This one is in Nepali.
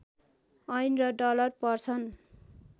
येन र डलर पर्छन्